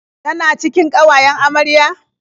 Tana cikin ƙawayen amaryar?